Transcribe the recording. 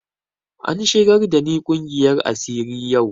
An shigar da ni ƙungiyar asiri yau